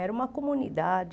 Era uma comunidade...